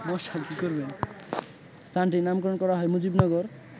স্থানটির নামকরণ করা হয় মুজিবনগর